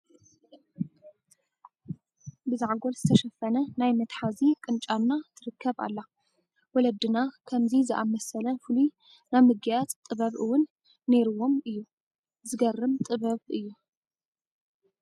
ብዘዓጐል ዝተሸፈነ ናይ መትሓዚ ቅንጫና ትርከ ኣላ፡፡ ወለድና ከፍዚ ዝኣምሰለ ፍሉይ ናይ ምግጋፅ ጥበብ እውን ነይሩዎም እዩ፡፡ ዝገርም ጥበብ እዩ፡፡